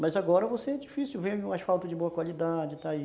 Mas agora você é difícil ver um asfalto de boa qualidade, está aí.